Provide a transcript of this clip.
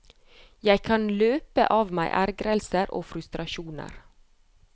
Jeg kan løpe av meg ergrelser og frustrasjoner.